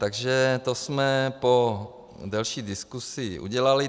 Takže to jsme po delší diskusi udělali.